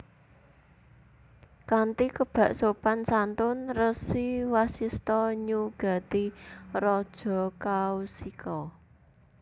Kanthi kebak sopan santun Resi Wasista nyugati Raja Kaushika